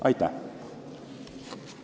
Aitäh!